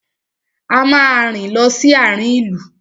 A máa rìn lọ sí àarin ìlú.